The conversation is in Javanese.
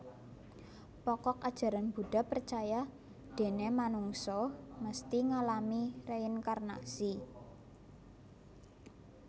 Pokok Ajaran Buddha percaya déné manungsa mesti ngalami reinkarnasi